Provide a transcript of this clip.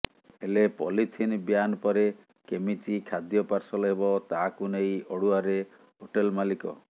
ହେଲେ polythene ban ପରେ କେମିତି ଖାଦ୍ୟ ପାର୍ସଲ ହେବ ତାହାକୁ ନେଇ ଅଡୁଆରେ ହୋଟେଲ ମାଲିକ